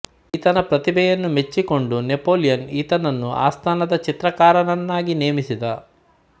ಈತನ ಪ್ರತಿಭೆಯನ್ನು ಮೆಚ್ಚಿಕೊಂಡು ನೆಪೋಲಿಯನ್ ಈತನನ್ನು ಆಸ್ಥಾನದ ಚಿತ್ರಕಾರನನ್ನಾಗಿ ನೇಮಿಸಿದ